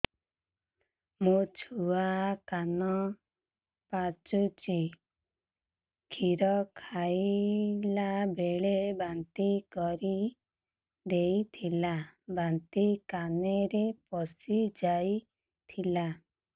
ମୋ ଛୁଆ କାନ ପଚୁଛି କ୍ଷୀର ଖାଇଲାବେଳେ ବାନ୍ତି କରି ଦେଇଥିଲା ବାନ୍ତି କାନରେ ପଶିଯାଇ ଥିଲା